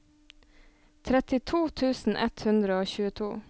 trettito tusen ett hundre og tjueto